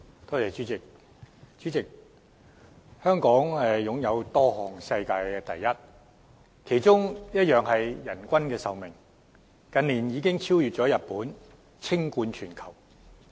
代理主席，香港擁有多項世界第一，其中一項是人均壽命，近年已經超越日本，稱冠全球。